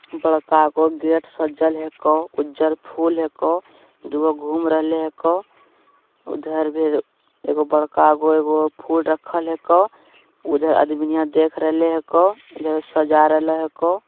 बड़कागो gate सा जल है हेक अ उजल हेक अ दो घूम हेक उधर ऐ फिर बड़का गो एगो अ फुल रखल हे क उधरआदमिनियाँ देख लेरे क उधर सजा रहल हे क।